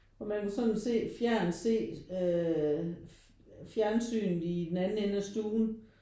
Og man kunne sådan se fjernt se øh fjernsynet i den anden ende af stuen